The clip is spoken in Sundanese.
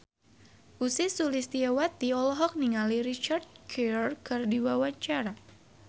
Ussy Sulistyawati olohok ningali Richard Gere keur diwawancara